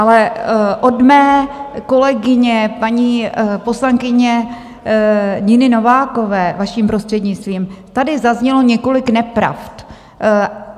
Ale od mé kolegyně, paní poslankyně Niny Novákové, vaším prostřednictvím, tady zaznělo několik nepravd.